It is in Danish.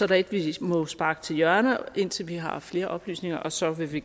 der et vi må sparke til hjørne indtil vi har flere oplysninger og så vil vi